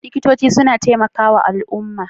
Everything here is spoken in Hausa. Likitoci suna taimakawa al'umma.